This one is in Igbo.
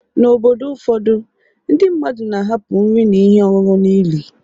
N’obodo ụfọdụ, ndị mmadụ na-ahapụ nri na ihe ọṅụṅụ n’ili